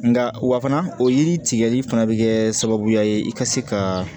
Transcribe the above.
Nka wa fana o yiri tigɛli fana bɛ kɛ sababuya ye i ka se ka